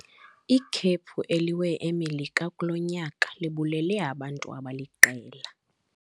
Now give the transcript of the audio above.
Ikhephu eliwe eMelika kulo nyaka libulele abantu abaliqela.